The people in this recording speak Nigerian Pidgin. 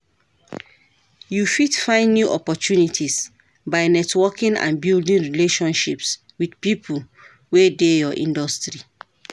You fit find new opportunities by networking and building relationships with people wey dey your industry.